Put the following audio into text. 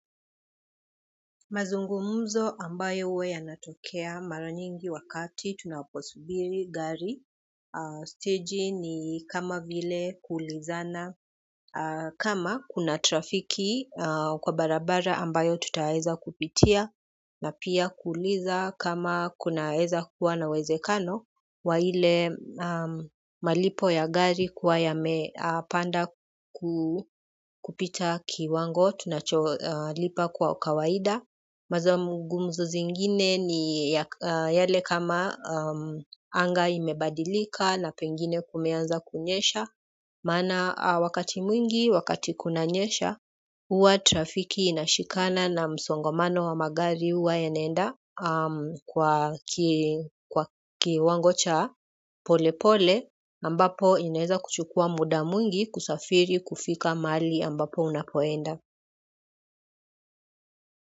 Mazungumzo ambayo huwa yanatokea mara nyingi wakati tunaposubiri gari staji ni kama vile kuulizana kama kuna trafiki kwa barabara ambayo tutaweza kupitia, na pia kuuliza kama kunaweza kuwa na uwezekano, wa ile malipo ya gari kuwa yameapanda kupita kiwango, tunacholipa kwa kawaida. Mazungumzo zingine ni yale kama anga imebadilika na pengine kumeanza kunyesha maana wakati mwingi wakati kunanyesha na huwa trafiki inashikana na masongamano ya magari huwa inaenda kwa kiwango cha polepole ambapo inaweza kuchukua muda mwingi kusafiri kufika mahali ambapo unapoenda.